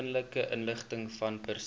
persoonlike inligtingvan persone